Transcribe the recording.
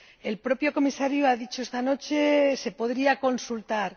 El propio Comisario ha dicho esta noche Se podría consultar.